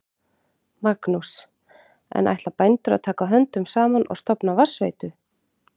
Magnús: En ætla bændur að taka höndum saman og stofna vatnsveitu?